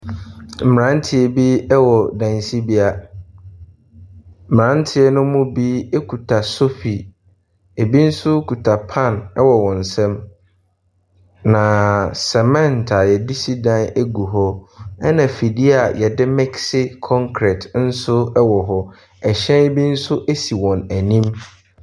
Mmeranteɛ bi wɔ dansibea. Mmerante no mu bi kuta sofi, ebi nso kuta pan wɔ wɔn nsam, na cement a wɔde si da gu hɔ, ɛnna afidie a wɔde mese kɔnkrɛt nso wɔ hɔ. Hyɛn bi nso si wɔn anim.